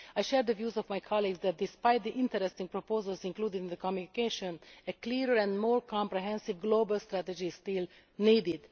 I share the views of my colleagues that, despite the interesting proposals included in the Communication, a clearer and more comprehensive global strategy is still needed.